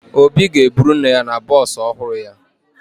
Obi ga-eburu nne ya na bọọsụ ọhụrụ ya